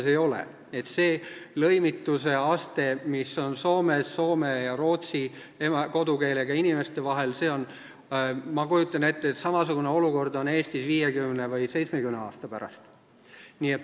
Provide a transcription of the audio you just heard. Ma kujutan ette, et samasugune olukord ja lõimituse aste, mis on praegu Soomes soome ja rootsi kodukeelega inimeste vahel, on Eestis 50 või 70 aasta pärast.